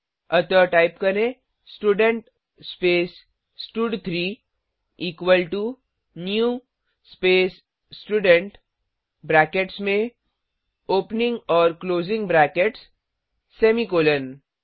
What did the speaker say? अतः टाइप करें student space स्टड3 equal to new space student brackets में ओपनिंग और क्लोजिंग ब्रैकेट्स सेमीकॉलन